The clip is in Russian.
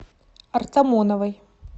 артамоновой